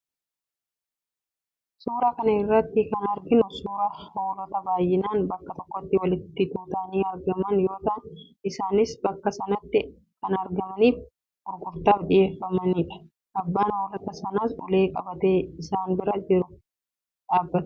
Suuraa kana irratti kan arginu suuraa hoolota baay'inaan bakka tokkotti walitti tutanii argaman yoo ta'an, isaanis bakka sanatti kan argamaniif gurgurtaaf dhiyeeffamaniidha. Abbaan hoolota sanaas ulee qabatee isaan bira yeroo dhaabatu ni mul'ata.